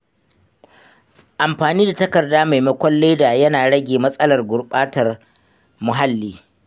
Amfani da takarda maimakon leda yana rage matsalar gurbatar muhalli.